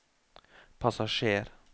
passasjer